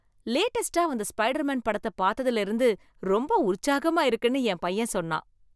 லேடஸ்ட்டா வந்த ஸ்பைடர்மேன் படத்தை பார்த்ததுல இருந்து ரொம்ப உற்சாகமா இருக்குன்னு என் பையன் சொன்னான்